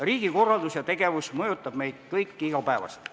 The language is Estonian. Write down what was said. Riigikorraldus ja riigi tegevus mõjutavad meid kõiki iga päev.